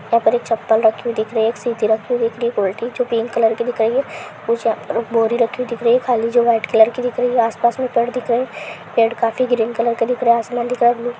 यहाँ पर एक चप्पल रखी हुई दिख रही है| एक सीधी रखी हुई दिख रही है एक उल्टी जो तीन कलर की दिख रही है| कुछ यहाँ पर बोरी रखी हुई दिख रही है | खाली जगह वाइट कलर की दिख रही है| आसपास में पेड़ दिख रहे हैं | पेड़ काफी ग्रीन कलर के दिख रहे हैं आसमान दिख रहा है ब्लू --